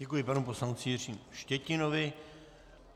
Děkuji panu poslanci Jiřímu Štětinovi.